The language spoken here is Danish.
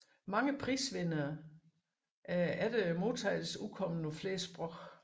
Mange prisvinderne er efter modtagelsen udkommet på flere sprog